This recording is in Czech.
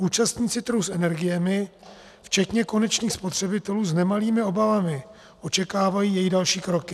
Účastníci trhu s energiemi včetně konečných spotřebitelů s nemalými obavami očekávají její další kroky.